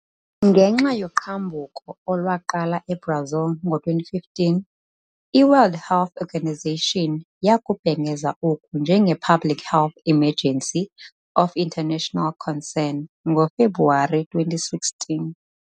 Ngenxa yoqhambuko olwaqala eBrazil ngo-2015, i-World Health Organization yakubhengeza oku njenge-Public Health Emergency of International Concern ngoFebruwari 2016.